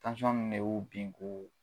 Tansɔn in de y'o bin k'u